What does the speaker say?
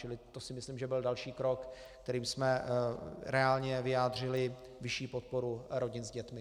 Čili to si myslím, že byl další krok, kterým jsme reálně vyjádřili vyšší podporu rodin s dětmi.